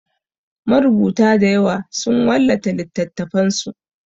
Marubuta dayawa sun wallafa littatafansu.